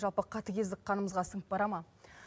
жалпы қатыгездік қанымызға сіңіп бара ма